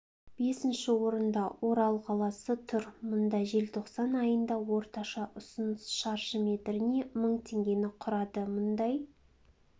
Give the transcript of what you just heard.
бесінші орында орал қаласы тұр мұнда желтоқсан айында орташа ұсыныс шаршы метріне мың теңгені құрады мұндай